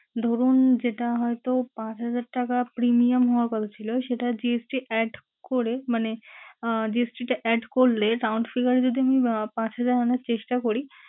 ধরুন যেটা হয়তো পাঁচ হাজার টাকা premium হওয়ার কথা ছিলো, সেটা GST add করে মানে আহ GST টা add করলে count figur এ যদি আমি আহ পাঁচ হাজার আনার চেষ্টা করি